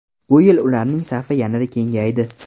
Bu yil ularning safi yana kengaydi.